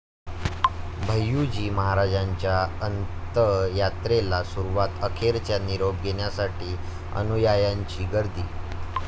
भैय्यूजी महाराजांच्या अंतयात्रेला सुरूवात, अखेरचा निरोप घेण्यासाठी अनुयायांची गर्दी